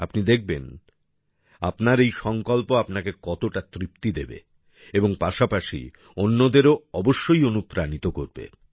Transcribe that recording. আপনি দেখবেন আপনার এই সংকল্প আপনাকে কতটা তৃপ্তি দেবে এবং পাশাপাশি অন্যদেরও অবশ্যই অনুপ্রাণিত করবে